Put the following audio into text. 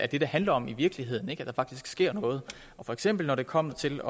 det det handler om i virkeligheden altså at der faktisk sker noget og for eksempel da det kom til